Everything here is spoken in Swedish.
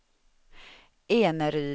Eneryda